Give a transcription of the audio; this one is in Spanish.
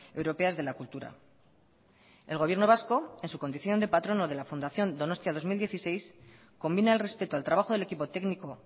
europeas de la cultura el gobierno vasco en su condición de patrono de la fundación donostia dos mil dieciséis combina el respeto al trabajo del equipo técnico